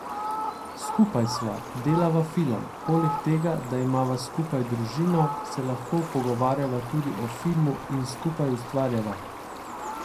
Skupaj sva, delava film, poleg tega, da imava skupaj družino, se lahko pogovarjava tudi o filmu in skupaj ustvarjava.